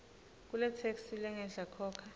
kuletheksthi lengenhla khokha